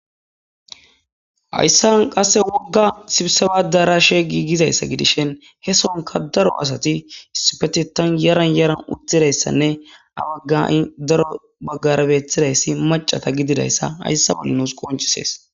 Hayasan woga sibiseba ADerasheyasati daro Asati issipetethan Yara yaran uttidaysa a haha daro Bagara betizaysi Maccata gididaysa Haysa Bolla nus qonccisses